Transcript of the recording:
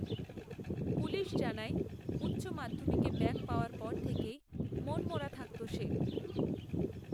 police জানায় উচ্চ মাধ্যমিকে ব্যাক পাওয়ার পর থেকেই মনমরা থাকত সে